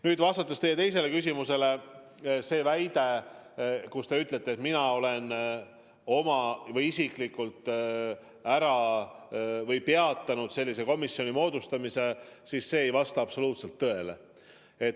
Nüüd, vastuseks teie teisele küsimusele, kus te väitsite, et mina olen isiklikult peatanud sellise komisjoni moodustamise, ma kinnitan, et see ei vasta absoluutselt tõele.